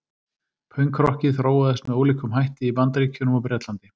Pönkrokkið þróaðist með ólíkum hætti í Bandaríkjunum og Bretlandi.